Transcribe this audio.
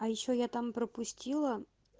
а ещё я там пропустила